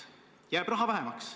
– jääb raha vähemaks.